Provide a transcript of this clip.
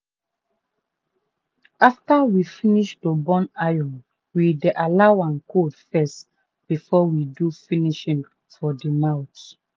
after we finish to burn iron we dey allow am cold first before we do finishing for de mouth.